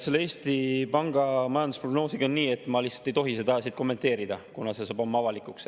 Selle Eesti Panga majandusprognoosiga on nii, et ma lihtsalt ei tohi seda kommenteerida, kuna see saab homme avalikuks.